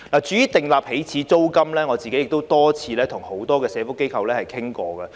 至於訂立起始租金，我亦多次與多個社福機構討論。